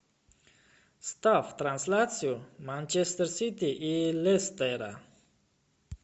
ставь трансляцию манчестер сити и лестера